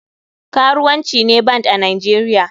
Karuwanci ne band a nigeria.